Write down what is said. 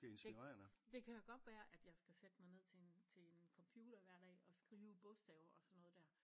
Det det kan godt være at jeg skal sætte mig ned til en til en computer hver dag at skrive bogstaver og sådan noget der